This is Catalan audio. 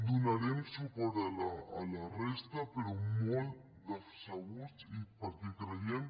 donarem suport a la resta però molt decebuts i per·què creiem